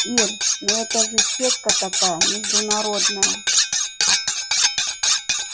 ир ну это же сетка такая международная